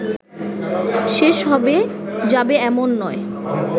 শেষ হবে যাবে এমন নয়